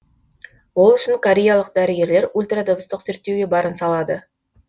ол үшін кореялық дәрігерлер ультрадыбыстық зерттеуге барын салады